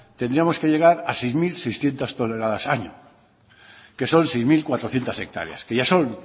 tendríamos que llegar a seis mil seiscientos toneladas año que son seis mil cuatrocientos hectáreas que ya son